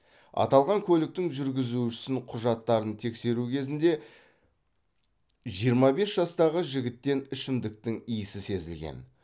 аталған көліктің жүргізушісін құжаттарын тексеру кезінде жиырма бес жастағы жігіттен ішімдіктің иісі сезілген